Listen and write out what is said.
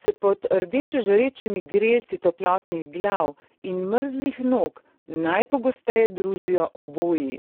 se pod rdeče žarečimi grelci toplih glav in mrzlih nog najpogosteje družijo oboji.